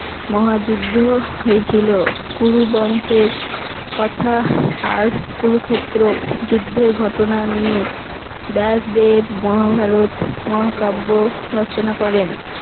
মহা যুদ্ধ হয়োছিল। কুরু বংশের কথা আর কুরুক্ষেত্র যুদ্ধের ঘটনা নিয়ে ব্যসদেব মহাভারত মহাকাব্য রচনা করেন।